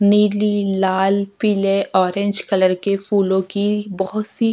नीली लाल पीले ऑरेंज कलर के फूलों की बहोत सी --